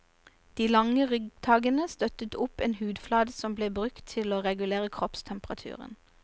De lange ryggtaggene støttet opp en hudflate som ble brukt til å regulere kroppstemperaturen.